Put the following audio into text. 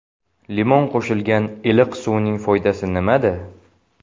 Limon qo‘shilgan iliq suvning foydasi nimada?.